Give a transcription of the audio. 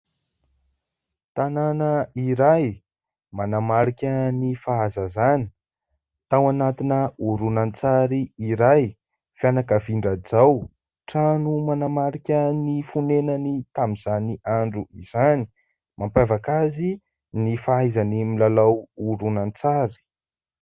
Tanàna iray manamarika ny fahazazana tao anatina horonan-tsary iray, finakavian-dRajao, trano manamarika ny fonenany tamin'izany andro izany, mampiavaka azy ny fahaizany milalao horonan-tsary.